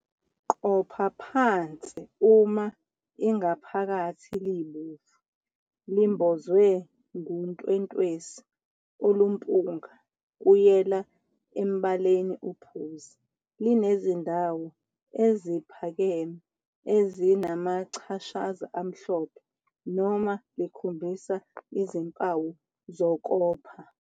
Qopha phansi uma ingaphakathi libomvu, limbozwe nguntwentwesi olumpunga kuyela embaleni ophuzi, linezindawo eziphakeme ezinamachashaza amhlophe, noma likhombisa izimpawu zokopha.